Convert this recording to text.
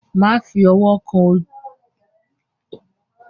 Má fi ọwọ́ kàn òkú ìyá àgbà.